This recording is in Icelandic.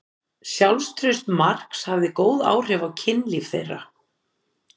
Sjálfstraust Marks hafði góð áhrif á kynlíf þeirra.